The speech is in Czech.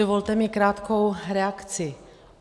Dovolte mi krátkou reakci.